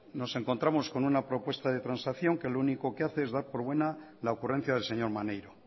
nos encontramos con una propuesta de transacción que lo único que hace es dar por buena la ocurrencia del señor maneiro